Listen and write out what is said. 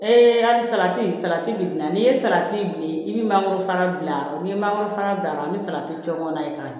hali salati salati bi na n'i ye salati bilen i bi mangoro fana bila n'i ye mangoro fana d'a ma i bɛ salati jɔ kɔnɔ ye ka ɲɛ